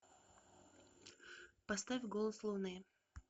поставь голос луны